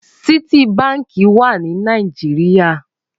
Citi bànkí wà ni Nàijiriá